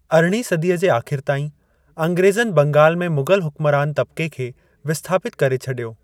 अरिड़हीं सदीअ जे आखि़र ताईं, अंग्रेज़नि बंगाल में मुग़ल हुक्मरान तब्क़े खे विस्थापितु करे छडि॒यो।